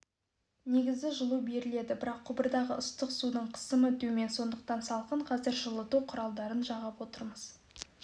негізі жылу берілді бірақ құбырдағы ыстық судың қысымы төмен сондықтан салқын қазір жылыту құралдарын жағып отырмыз